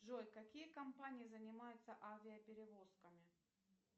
джой какие компании занимаются авиаперевозками